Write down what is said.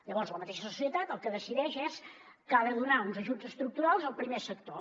llavors la mateixa societat el que decideix és que ha de donar uns ajuts estructurals al primer sector